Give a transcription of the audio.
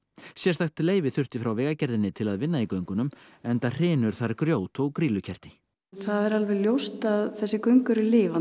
sérstakt leyfi þurfti frá Vegagerðinni til að vinna í göngunum enda hrynur þar grjót og grýlukerti það er alveg ljóst að þessi göng eru lifandi